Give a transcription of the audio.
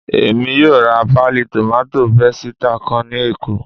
Èmi yóò ra páálí tòmátò pésìtì kan ní Èkó